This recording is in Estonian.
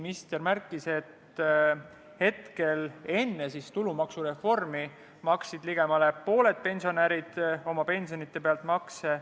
Minister märkis, et enne tulumaksureformi maksid ligemale pooled pensionärid oma pensioni pealt makse.